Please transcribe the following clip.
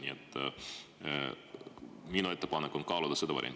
Nii et minu ettepanek on kaaluda seda varianti.